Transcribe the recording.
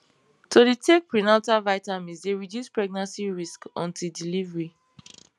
to dey take prenatal vitamins dey reduce pregnancy risks until delivery